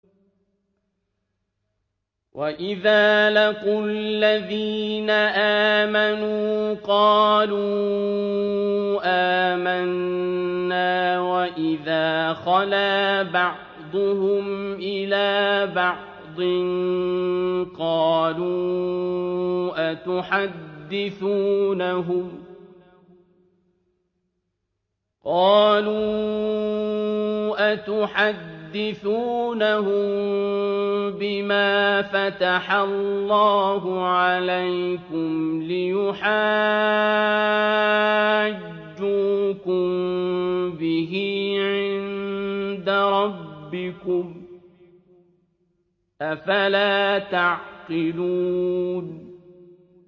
وَإِذَا لَقُوا الَّذِينَ آمَنُوا قَالُوا آمَنَّا وَإِذَا خَلَا بَعْضُهُمْ إِلَىٰ بَعْضٍ قَالُوا أَتُحَدِّثُونَهُم بِمَا فَتَحَ اللَّهُ عَلَيْكُمْ لِيُحَاجُّوكُم بِهِ عِندَ رَبِّكُمْ ۚ أَفَلَا تَعْقِلُونَ